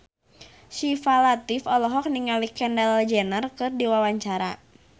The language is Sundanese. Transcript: Syifa Latief olohok ningali Kendall Jenner keur diwawancara